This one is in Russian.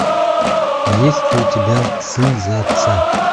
есть ли у тебя сын за отца